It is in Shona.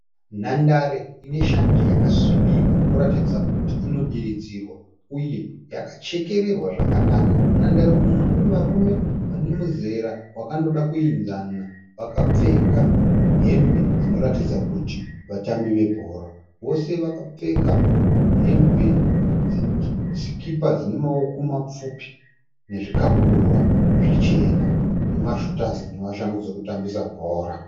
Nhandare ine shanje yakasvibira inoratidza kuti inodiridzirwa, uye yakachekererwa zvakanaka. Munhandare umu mune varume vanemizera wakandoda yakayenzana, vakapfeka hembe dzinoratidza kuti vatambi vabhora. Vose vakapfeka hembe, zvikipa zvine maoko mapfupi, zvikabudura zvichema, nemashutazi neshangu dzekutambisa bhora.